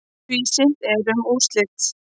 Tvísýnt er um úrslit.